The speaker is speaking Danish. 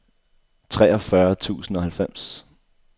treogfyrre tusind og halvfems